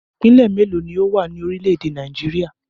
Ìpínlẹ̀ mélòó ni ó wà ní orílẹ̀-èdè Nàìjíríà?